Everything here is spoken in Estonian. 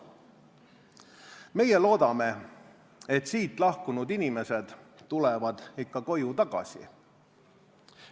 Meie loodame, et siit lahkunud inimesed tulevad ikka koju tagasi.